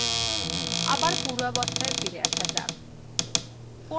আবার পূর্বাবস্থায় ফিরে আসা যাক